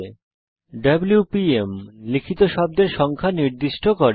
WPM - আপনার দ্বারা লিখিত শব্দের সংখ্যা নির্দিষ্ট করে